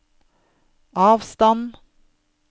avstand